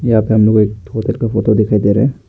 यहां पे हम लोग को एक होटल की फोटो दिखाई दे रहा है।